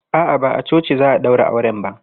A'a, ba a coci za a ɗaura auren ba.